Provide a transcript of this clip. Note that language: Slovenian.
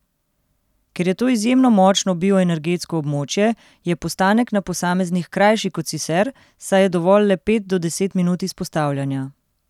Ker je to izjemno močno bioenergetsko območje, je postanek na posameznih krajši kot sicer, saj je dovolj le od pet do deset minut izpostavljanja.